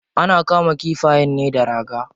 Ana kama kifayen ne da raga.